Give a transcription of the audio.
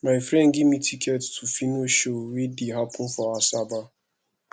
my friend give me ticket to phyno show wey dey happen for asaba